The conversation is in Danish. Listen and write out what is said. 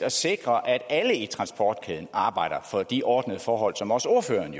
at sikre at alle i transportkæden arbejder for de ordnede forhold som også ordføreren